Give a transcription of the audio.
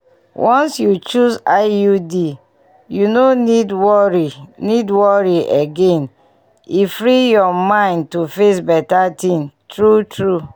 once you choose iud you no need worry need worry again e free your mind to face better things true true.